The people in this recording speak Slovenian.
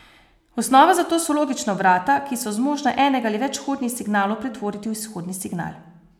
Osnova za to so logična vrata, ki so zmožna enega ali več vhodnih signalov pretvoriti v izhodni signal.